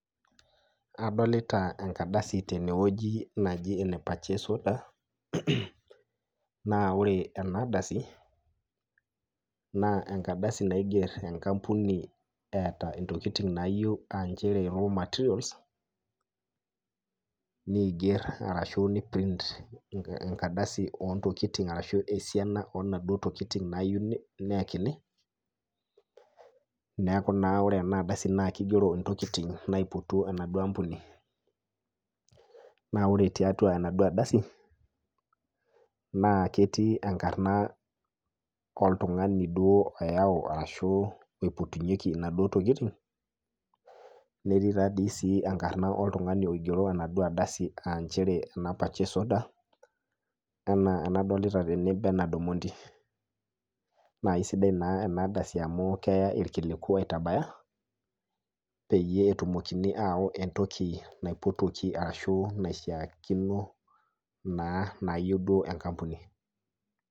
Adolita enkardasi teneweji naji ene purchase order na ore enkardasi naa enkardasi neiger enkampuni eeta ntokiting naayieu aa nchere materials ,neiptint enkardasi ontokiting ashu esiana onaduo tokiting nayieu nayakini neeku naa ore ena ardasi naa kigerot ntokiting naipotuo enaduo ampuni .naa ore tiatua enaduo ardasi naa kigero enkarna oltungani oyau ashu oipotunyeki naduo tokiting ,netii enkarna oladuo tungani oigero enkardasi nchere ena purchase order ena enadolita tene benard omondi. naa isidan naa ena ardasi amu keya irkiliku aitabaya peyie etumokini ayau entoki naipotuoki ashu naishaakino naa neyieu enkampuni.